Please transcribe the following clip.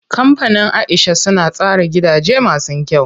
Kampanin Aisha suna tsara gidaje masu kyau.